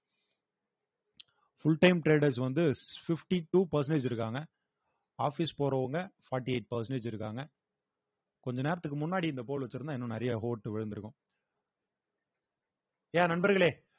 full time traders வந்து fifty-two percentage இருக்காங்க office போறவங்க forty-eight percentage இருக்காங்க கொஞ்ச நேரத்துக்கு முன்னாடி இந்த pole வச்சிருந்தா இன்னும் நிறைய ஓட்டு விழுந்திருக்கும் yeah நண்பர்களே